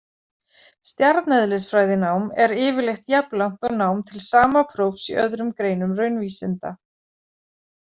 Stjarneðlisfræðinám er yfirleitt jafnlangt og nám til sama prófs í öðrum greinum raunvísinda.